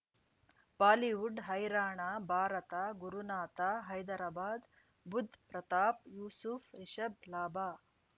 Bollywood ಹೈರಾಣ ಭಾರತ ಗುರುನಾಥ ಹೈದರಾಬಾದ್ ಬುಧ್ ಪ್ರತಾಪ್ ಯೂಸುಫ್ ರಿಷಬ್ ಲಾಭ